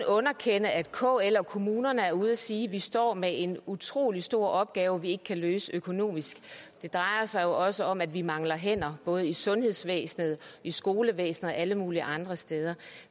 underkende at kl og kommunerne er ude at sige at de står med en utrolig stor opgave de ikke kan løse økonomisk det drejer sig jo også om at de mangler hænder både i sundhedsvæsenet i skolevæsenet og alle mulige andre steder